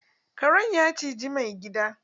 Karen ya ciji maigadi.